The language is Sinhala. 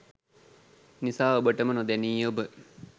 නිසා ඔබටම නොදැනී ඔබ